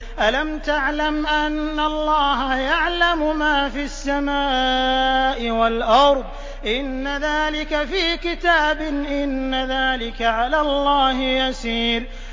أَلَمْ تَعْلَمْ أَنَّ اللَّهَ يَعْلَمُ مَا فِي السَّمَاءِ وَالْأَرْضِ ۗ إِنَّ ذَٰلِكَ فِي كِتَابٍ ۚ إِنَّ ذَٰلِكَ عَلَى اللَّهِ يَسِيرٌ